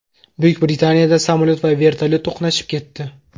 Buyuk Britaniyada samolyot va vertolyot to‘qnashib ketdi.